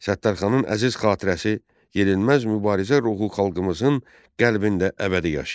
Səttarxanın əziz xatirəsi, yenilməz mübarizə ruhu xalqımızın qəlbində əbədi yaşayır.